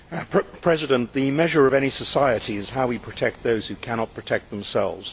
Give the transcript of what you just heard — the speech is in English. Mr President, the measure of any society is how we protect those who cannot protect themselves.